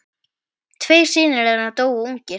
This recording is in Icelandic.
Tveir synir þeirra dóu ungir.